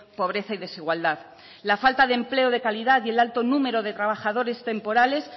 pobreza y desigualdad la falta de empleo de calidad y el alto número de trabajadores temporales